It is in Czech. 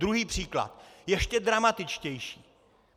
Druhý příklad, ještě dramatičtější.